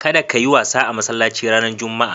Kada kayi wasa a masallaci ranar Juma'a.